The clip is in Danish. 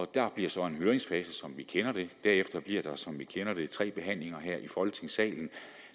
der bliver så en høringsfase som vi kender det og derefter bliver der som vi kender det tre behandlinger her i folketingssalen